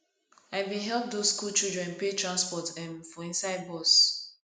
i bin help those skool children pay transport um for inside bus